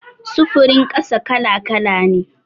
Sufurin ƙasa kala-kala ne.